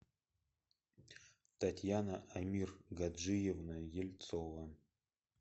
татьяна амиргаджиевна ельцова